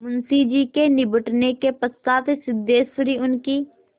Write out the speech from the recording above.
मुंशी जी के निबटने के पश्चात सिद्धेश्वरी उनकी